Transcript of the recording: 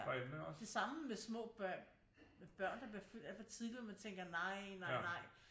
Det samme med små børn der bliver født alt for tidligt hvor man tænker nej nej nej